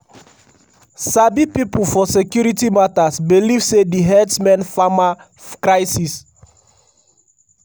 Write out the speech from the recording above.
sabi pipo for security matters believe say di herdsmen/farmer crises